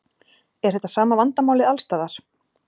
Er þetta sama vandamálið alls staðar?